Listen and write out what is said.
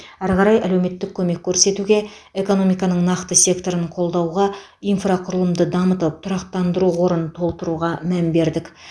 әрі қарай әлеуметтік көмек көрсетуге экономиканың нақты секторын қолдауға инфрақұрылымды дамытып тұрақтандыру қорын толтыруға мән бердік